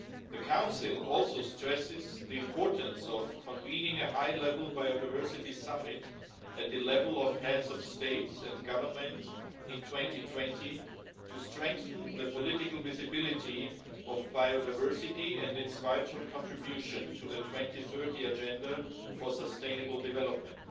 The Council also stresses the importance of convening a high-level biodiversity summit, at the level of heads of state and government in 2020, to strengthen the political visibility of biodiversity and its vital contribution to the 2030 Agenda for Sustainable Development.